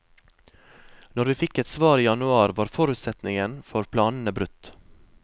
Når vi fikk et svar i januar var forutsetningen for planene brutt.